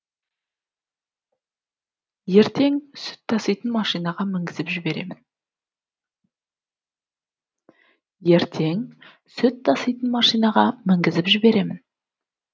ертең сүт таситын машинаға мінгізіп жіберемін